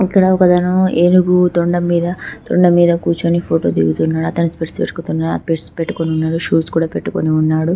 ఇక్కడ ఒకతను ఏనుగు తొండం మీద తొండం మీద కూర్చుని ఫోటో దిగుతున్నాడు అతను స్పెక్ట్స్ పెట్టుకొని ఉన్నాడు షూస్ కూడా పెట్టుకుని ఉన్నాడు